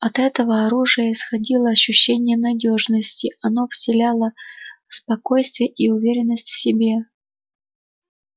от этого оружия исходило ощущение надёжности оно вселяло спокойствие и уверенность в себе